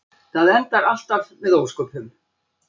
Það endar alltaf með ósköpum.